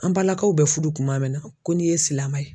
An balakaw bɛ furu kuma min na ko n'i ye silamɛ ye